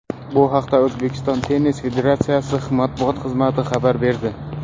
Bu haqda O‘zbekiston tennis federatsiyasi matbuot xizmati xabar berdi .